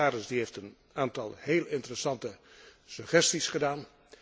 De commissaris heeft een aantal heel interessante suggesties gedaan.